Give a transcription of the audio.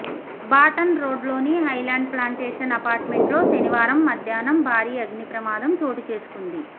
బాటన్ రోగ్లోని Highland Plantation అపార్ట్మెంట్లో శనివారం మధ్యాహ్నం భారీ అగ్నిప్రమాదం చోటు చేసుకుంది